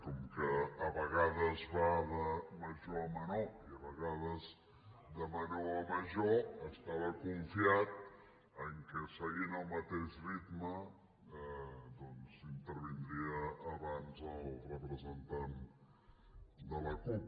com que a vegades va de major a menor i a vegades de menor a major estava confiat que seguint el mateix ritme doncs intervindria abans el representant de la cup